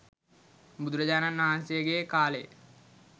බුදුරජාණන් වහන්සේ ගේ කාලෙ